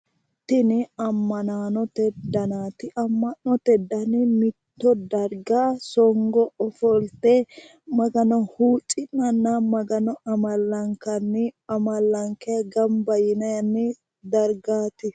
Tini ammanaanote danaati. Amma'note dani mitto darga songo ofolte magano huucci'nanna magano amallankanni amallankayi gamba yinanni dargaati.